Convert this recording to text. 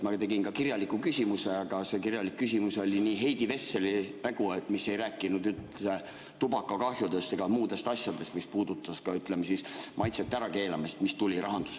Ma tegin ka kirjaliku küsimuse, aga see, mis tuli omal ajal Rahandusministeeriumist, oli Heidi Vesseli hägu, mis ei rääkinud üldse tubakakahjudest ega muudest asjadest, mis puudutas ka, ütleme siis, maitsete ärakeelamist.